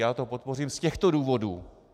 Já to podpořím z těchto důvodů.